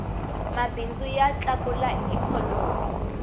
mabindzu ya tlakula ikhonomi